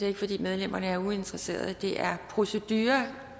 ikke fordi medlemmerne er uinteresserede men det er procedure